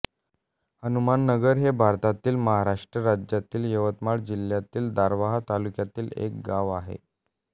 हनुमाननगर हे भारतातील महाराष्ट्र राज्यातील यवतमाळ जिल्ह्यातील दारव्हा तालुक्यातील एक गाव आहे